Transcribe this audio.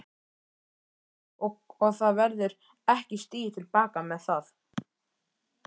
Brynja: Og það verður ekki stigið til baka með það?